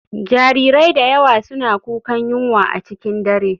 Jarirai da yawa suna kukan yunwa a cikin dare.